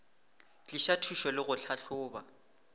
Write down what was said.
tliša thušo le go tlhahloba